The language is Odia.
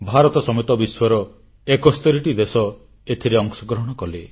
ଭାରତ ସମେତ ବିଶ୍ୱର 71ଟି ଦେଶ ଏଥିରେ ଅଂଶଗ୍ରହଣ କଲେ